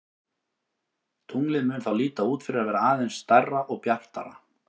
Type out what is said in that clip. Tunglið mun þá líta út fyrir að vera aðeins stærra og bjartara.